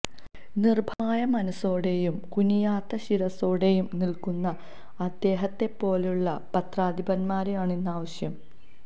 നിർഭയമായ മനസ്സോടെയും കുനിയാത്ത ശിരസ്സോടെയും നിൽക്കുന്ന അദ്ദേഹത്തെപ്പോലുള്ള പത്രാധിപന്മാരെയാണ് ഇന്ന് ആവശ്യം